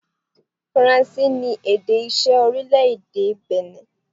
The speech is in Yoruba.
Faranse ni èdè iṣẹ́ orílẹ̀-èdè Benin.